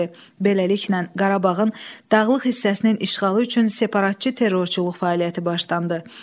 Beləliklə, Qarabağın dağlıq hissəsinin işğalı üçün separatçı terrorçuluq fəaliyyəti başlandı.